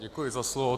Děkuji za slovo.